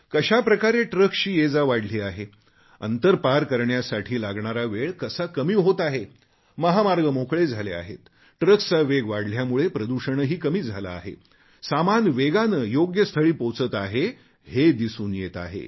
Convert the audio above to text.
कशाप्रकारे ट्रक्सची येजा वाढली आहे अंतर पार करण्यासाठी लागणारा वेळ कसा कमी होत आहे महामार्ग मोकळे झाले आहेत ट्रक्सचा वेग वाढल्यामुळे प्रदूषणही कमी झाले आहे सामान वेगाने योग्य स्थळी पोहोचत आहे हे दिसून येत आहे